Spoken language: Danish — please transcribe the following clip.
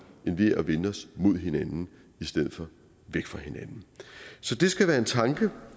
end ved at vende os mod hinanden i stedet for væk fra hinanden så det skal være en tanke